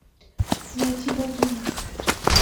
найти богини